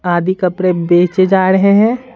आधी कपड़े बेचे जा रहे हैं।